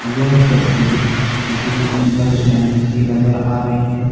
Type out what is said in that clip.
यह तस्वीर किसी बस स्टैंड की नजर आ रही है।